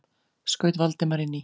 skaut Valdimar inn í.